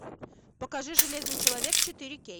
покажи железный человек четыре кей